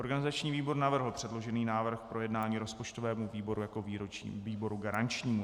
Organizační výbor navrhl předložený návrh k projednání rozpočtovému výboru jako výboru garančnímu.